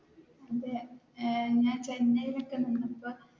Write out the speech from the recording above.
ഞാൻ ചെന്നൈയിൽ ഒക്കെ നിന്നപ്പോൾ,